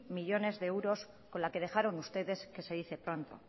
millónes de euros con la que dejaron ustedes que se dice pronto